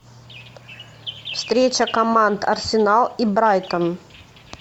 встреча команд арсенал и брайтон